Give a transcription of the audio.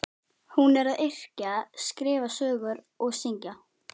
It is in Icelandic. Hún er að yrkja, skrifa sögur og syngja.